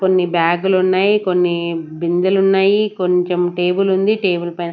కొన్ని బ్యాగులు ఉన్నాయి కొన్ని బిందెలు ఉన్నాయి కొంచెం టేబుల్ ఉంది టేబుల్ పైన--